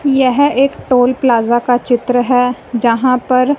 यह एक toll plaza का चित्र है जहां पर--